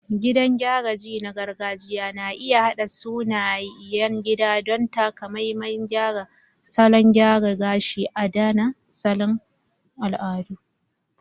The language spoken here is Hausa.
Gidan gyara ji na gargajiya na iya haɗa sunayen gida don takamaiman salon gyara gashi, adana asalin al'adu.